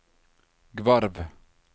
Gvarv